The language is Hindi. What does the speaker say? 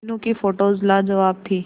मीनू की फोटोज लाजवाब थी